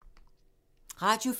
Radio 4